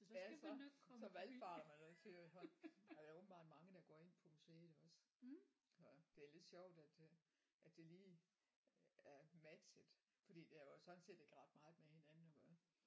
Ja så så valfarter man dertil og så er der åbenbart mange der går ind på museet også så det er lidt sjovt at øh at det lige er matchet fordi det har jo sådan set ikke ret meget med hinanden at gøre